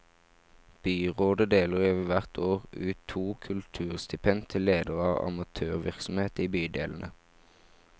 Byrådet deler hvert år ut to kulturstipend til ledere av amatørvirksomhet i bydelene.